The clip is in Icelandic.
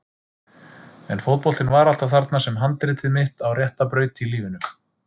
En fótboltinn var alltaf þarna sem handritið mitt á rétta braut í lífinu.